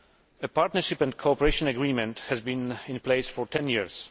A partnership and cooperation agreement has been in place for 10 years.